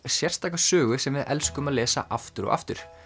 sérstaka sögu sem við elskum að lesa aftur og aftur